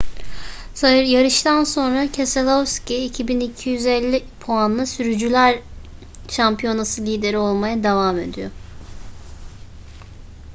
yarıştan sonra keselowski 2.250 puanla sürücüler şampiyonası lideri olmaya devam ediyor